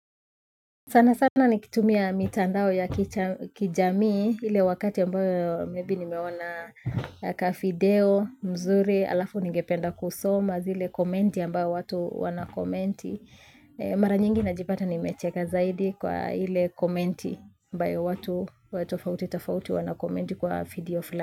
Sana sana nikitumia mitandao ya kijamii ile wakati ambayo maybe nimeona kavideo mzuri alafu ningependa kusoma zile komenti ambayo watu wanakomenti. Mara nyingi najipata nimecheka zaidi kwa ile komenti ambayo watu watu tofauti tofauti wanakomenti kwa feed of life.